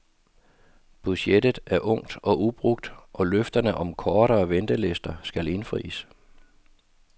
Budgettet er ungt og ubrugt og løfterne om kortere ventelister skal indfries.